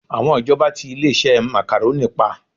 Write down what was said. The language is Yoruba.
Àwọn ìjọba tí ilé-iṣẹ́ Macaroni pa